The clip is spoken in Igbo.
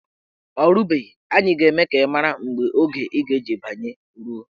O rubeghi, anyị ga-eme ka ị mara mgbe oge ị ga-eji banye ruo.